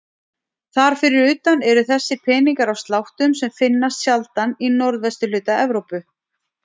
Þar fyrir utan eru þessir peningar af sláttum sem finnast sjaldan í norðvesturhluta Evrópu.